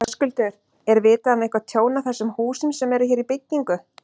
Höskuldur: Er vitað um eitthvað tjón á þessum húsum sem eru hér í byggingu?